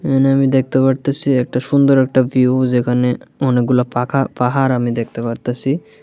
এহানে আমি দেখতে পারতাসি একটা সুন্দর একটা ভিউ যেখানে অনেকগুলা পাখা-পাহাড় আমি দেখতে পারতাসি।